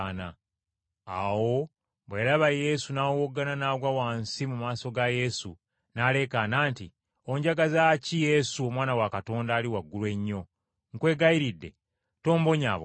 Awo bwe yalaba Yesu n’awowoggana n’agwa wansi mu maaso ga Yesu, n’aleekaana nti, “Onjagaza ki, Yesu, Omwana wa Katonda Ali Waggulu Ennyo? Nkwegayiridde tombonyaabonya!”